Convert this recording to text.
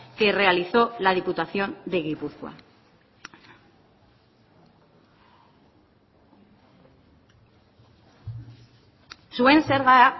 que realizó la diputación de gipuzkoa zuen zerga